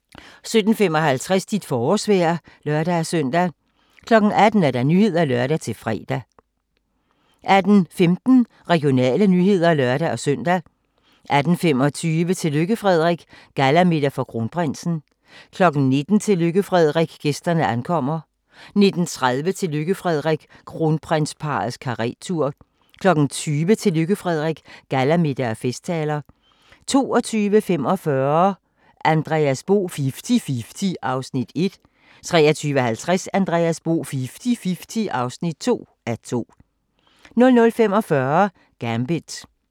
17:55: Dit forårsvejr (lør-søn) 18:00: Nyhederne (lør-fre) 18:15: Regionale nyheder (lør-søn) 18:25: Tillykke Frederik - gallamiddag for kronprinsen 19:00: Tillykke Frederik - gæsterne ankommer 19:30: Tillykke Frederik - kronprinsparrets karettur 20:00: Tillykke Frederik - gallamiddag og festtaler 22:45: Andreas Bo - Fifti-fifti (1:2) 23:50: Andreas Bo - Fifti-fifti (2:2) 00:45: Gambit